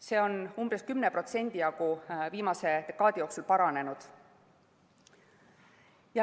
See on viimase dekaadi jooksul umbes 10% paranenud.